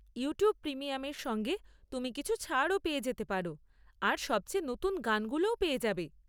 YouTube প্রিমিয়ামের সঙ্গে তুমি কিছু ছাড়ও পেয়ে যেতে পার আর সবচেয়ে নতুন গানগুলোও পেয়ে যাবে।